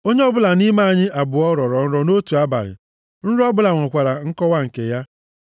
Onye ọbụla nʼime anyị abụọ rọrọ nrọ nʼotu abalị, nrọ ọbụla nwekwara nkọwa nke ya.